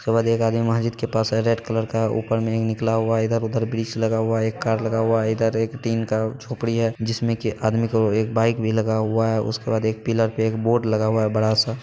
उसके बाद एक आदमी महजिद के पास आए रेड कलर का ऊपर में एक निकला हुआ | इधर-उधर वृक्ष में लगा हुआ है| एक कार लगा हुआ है इधर एक टिन का झोपड़ी है जिसमें की आदमी को एक बाइक भी लगा हुआ है| उसके बाद एक पिलर पे एक बोर्ड भी लगा हुआ है बड़ा-सा।